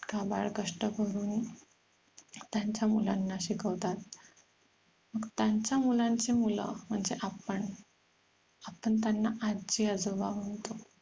काबाड कष्ट करून त्यांच्या मुलांना शिकवतात मग त्यांच्या मुलांची मुलं म्हणजे आपण आपण त्यांना आजी आजोबा म्हणतो